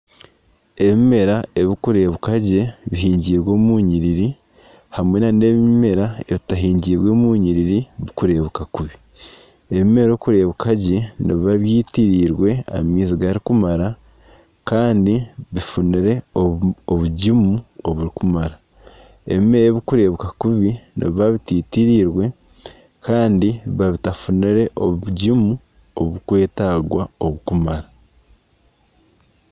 Ebimera ebirikureebeka gye bihingyirwe omu nyiriri hamwe nana ebimerera ebitahingirwe omu nyiriri ebirikureebeka kubi, ebimera okureebeka gye nibiba byitiriirwe amaizi garikumara kandi bifunire obugimu oburikumara, ebimera ebirikureebuka kubi nibiba bititiriirwe kandi biba batafunire obugimu obukwetagwa oburikumara